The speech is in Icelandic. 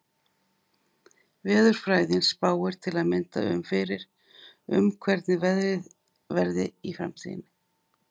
Veðurfræðin spáir til að mynda fyrir um hvernig veðrið verði í framtíðinni.